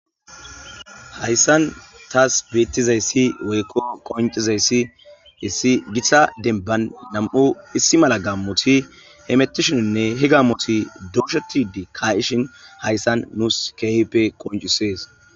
Hayssan taas beettizayssi woykko qoncizayssi issi gita denban nam7u issi mala gamoti hemetishininne higammoti dooshetidi ka7ishin hayssan nuus kehippe qoncises.